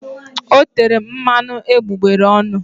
O tere mmanụ egbugbere ọnụ.